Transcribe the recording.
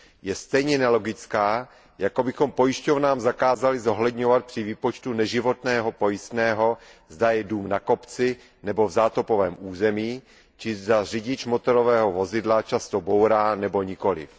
Je stejně nelogická, jako kdybychom pojišťovnám zakázali zohledňovat při výpočtu pojistného v neživotním pojištění, zda je dům na kopci nebo v zátopovém území či zda řidič motorového vozidla často bourá nebo nikoliv.